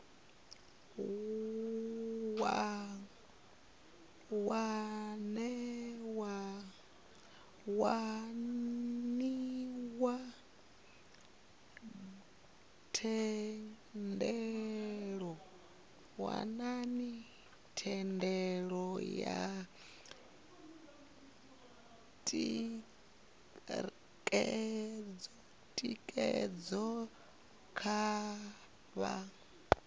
waniwa thendelo yo tikedzwaho khavho